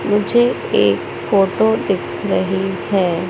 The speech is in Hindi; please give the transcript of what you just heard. नीचे एक फोटो दिख रही है।